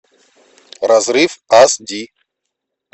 разрыв ас ди